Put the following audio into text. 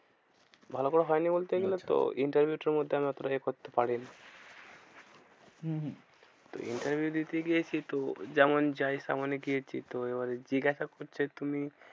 ভালো করে হয়নি বলতে হম interview টার মধ্যে আমি অতটা এ করতে পারিনা। হম হম interview দিতে গিয়েছি তো যেমন যাই তেমনই গিয়েছি তো। এবার জিজ্ঞাসা করছে তুমি